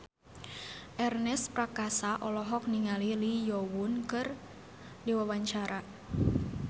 Ernest Prakasa olohok ningali Lee Yo Won keur diwawancara